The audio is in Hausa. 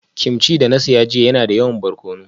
Kimchi da na saya jiya yana da yawa barkono